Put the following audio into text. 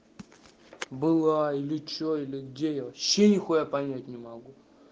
было или что или где я вообще нихуя понять не могу